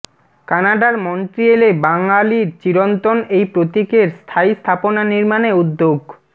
কানাডার মন্ট্রিয়েলে বাঙালির চিরন্তন এই প্রতীকের স্থায়ী স্থাপনা নির্মাণে উদ্যোগ